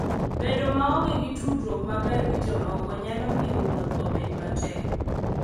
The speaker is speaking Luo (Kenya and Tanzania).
Bedo maonge gi tudruok maber gi jomoko nyalo miyo wuoth obed matek.